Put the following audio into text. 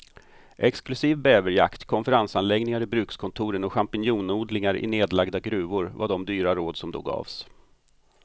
Exklusiv bäverjakt, konferensanläggningar i brukskontoren och champinjonodlingar i nedlagda gruvor var de dyra råd som då gavs.